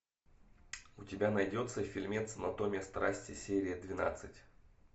у тебя найдется фильмец анатомия страсти серия двенадцать